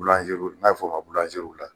N'a bɛ fɔ ma la